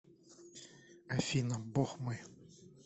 афина бог мой